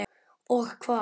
Og hvað.